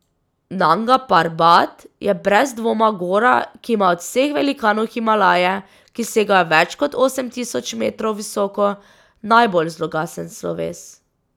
Nanga Parbat je brez dvoma gora, ki ima od vseh velikanov Himalaje, ki segajo več kot osem tisoč metrov visoko, najbolj zloglasen sloves.